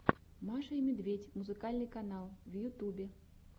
маша и медведь музыкальный канал в ютубе